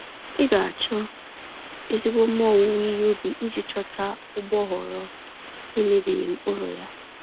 Ị ga-achọ ezigbo mma owuwe ihe ubi iji ghọta ụgbọghọrọ nemebighị mkpụrụ yá